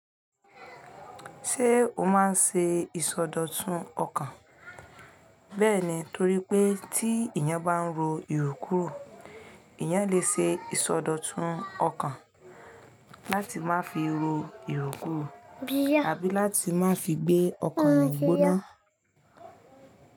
Ṣé o máa ń ṣe ìsọdọ̀tun ọkàn? Bẹ́ẹ̀ ni, torí pé tí èèyàn bá ń ro ìrò kírò èèyàn lè ṣe ìsọdọ̀tun ọkàn láti má fi ro ìrò kírò àbí láti má fi gbé ọkàn èèyàn gbóná.